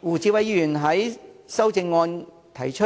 胡志偉議員在修正案提出